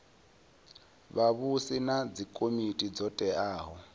vhavhusi na dzikomiti dzo teaho